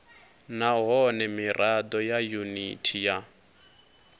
nahone mirado ya yuniti ya